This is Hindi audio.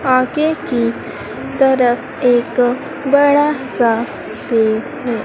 आगे की तरफ एक बड़ा सा ट्री है।